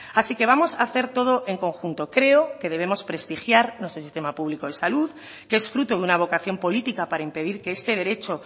así que vamos hacer todo en conjunto creo que debemos prestigiar nuestro sistema público de salud que es fruto de una vocación política para impedir que este derecho